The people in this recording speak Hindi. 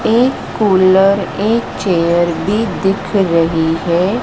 एक कूलर एक चेयर भी दिख रही है।